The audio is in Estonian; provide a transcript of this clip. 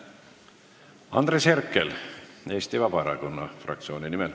Andres Herkel Eesti Vabaerakonna fraktsiooni nimel.